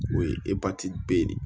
O ye be de ye